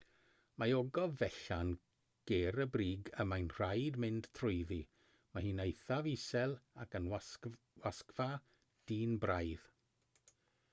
mae ogof fechan ger y brig y mae'n rhaid mynd trwyddi mae hi'n eithaf isel ac yn wasgfa dynn braidd